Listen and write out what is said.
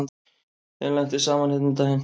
Þeim lenti saman hérna um daginn.